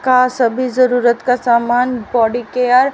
का सभी जरुरत का सामान बॉडी केयर --